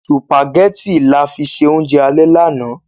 Sùpàgẹ́tì la fi ṣe óúnjẹ alẹ́ lánàá.